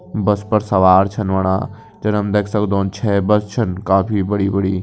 बस पर सवार छन होणा जन हम देख सक्दों छै बस छन काफी बड़ी बड़ी।